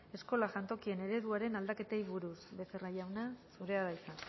eskola jantokien ereduaren aldaketei buruz becerra jauna zurea da hitza